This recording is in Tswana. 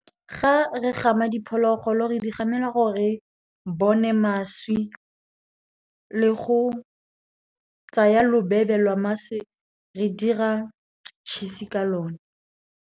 Ga re gama diphologolo, re di gamela gore bone mašwi, le go tsaya lobebe la mašwi re dira tšhisi ka lone.